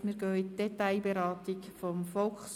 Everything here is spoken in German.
Demzufolge kommen wir zur Detailberatung des VSG.